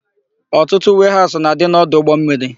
Ọtụtụ weehaụsụ na-adị n'ọdụ ụgbọmmiri.